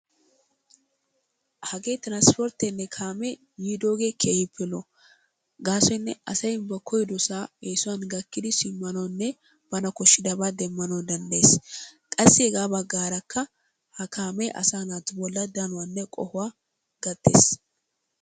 Hagee tiransportteenne kaamee yiidoogee keehippe lo'o. Gaasoynne asay ba koyidosaa eesuwan gakkidi shamanawunne bana koshidabaa demanawu dandayees. Qassi hegaa bagaarakka ha kaamee asaa naatu bolan danuwanne qohuwa gattees.